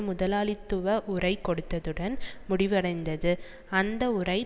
முதலாளித்துவ உரை கொடுத்ததுடன் முடிவடைந்தது அந்த உரை